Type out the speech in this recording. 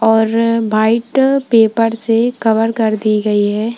और white paper से cover कर दी गई है।